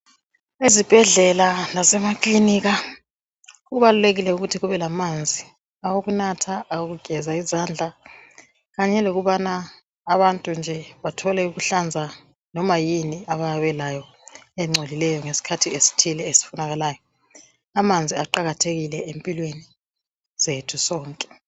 Ezibhedlela lasemaklinika kubalulekile ukuthi kube lamanzi awokunatha, awokugeza izandla kanye lokubana abantu nje bathole ukuhlanza noma yini abayabe belayo engcolileyo ngesikhathi esithile esifunekalayo. Amanzi aqakathekile empilweni zethu sonke.